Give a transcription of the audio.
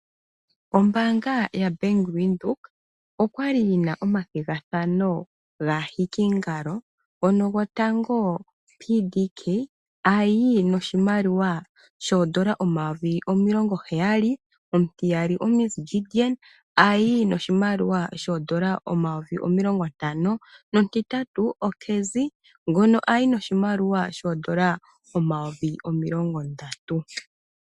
Ombaanga yaBank Windhoek okwali yina omathigathano gaahikingalo mono gotango PDK ayi noshimaliwa shoodola omayovi omilongo heyali , omutiyali oMs Gideon ayi noshimaliwa shoodola omayovi omilongo ntano nomutitatu oCazzy ngono ayi noshimaliwa omayovi omilongo ndatu.